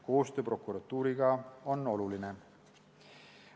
Koostöö prokuratuuriga on oluline.